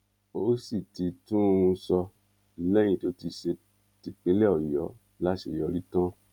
ó sì ti tún un sọ lẹyìn tó ti ṣe típínlẹ ọyọ láṣeyọrí tán